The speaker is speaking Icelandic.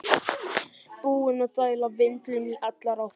Búinn að dæla vindlum í allar áttir!